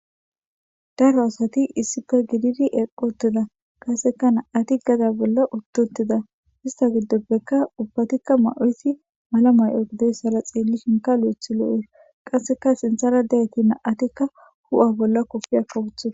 daro asati issife gididi eqqotida qaseka na7ati gada bolla uttutida ista giddoppekka ubbatikka ma7esi mala may7o gideyssara xeelli shinka lo7ethi lo7es qasseka sinthara deyati na7atikka hu7a bolla kofia kawuthada.